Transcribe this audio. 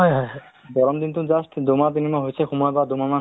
to তেনেকে health ৰ বিষয়ে এতে মানুহবিলাক সোধে